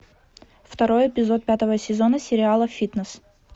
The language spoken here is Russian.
второй эпизод пятого сезона сериала фитнес